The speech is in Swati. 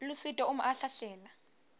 lusito uma ahlahlela